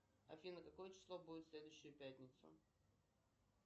афина какое число будет в следующую пятницу